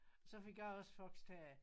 Så fik jeg også foxterrier